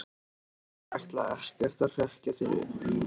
Ég ætla ekkert að hrekkja þig núna,